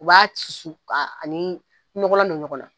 U b'a susu ka ani nɔgɔnla don ɲɔgɔn na.